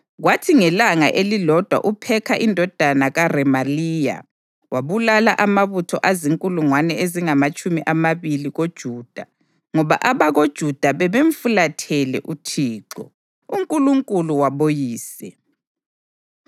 Kwathi ngelanga elilodwa uPhekha indodana kaRemaliya wabulala amabutho azinkulungwane ezingamatshumi amabili koJuda ngoba abakoJuda babemfulathele uThixo, uNkulunkulu waboyise.